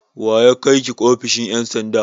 Wa ya kai ki ofishin ƴan sanda?